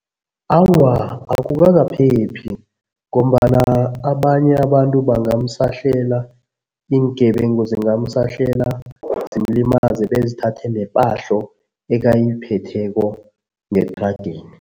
Awa, akukakaphephi ngombana abanye abantu bangamsahlela, iingebengu zingamsahlela, zimlimaze bezithathe nepahlo ekayiphetheko ngethrageni.